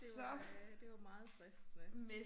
Det var det var meget fristende